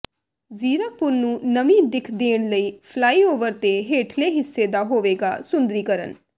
ਜ਼ੀਰਕਪੁਰ ਨੂੰ ਨਵੀਂ ਦਿੱਖ ਦੇਣ ਲਈ ਫਲਾਈਓਵਰ ਦੇ ਹੇਠਲੇ ਹਿੱਸੇ ਦਾ ਹੋਵੇਗਾ ਸੁੰਦਰੀਕਰਨ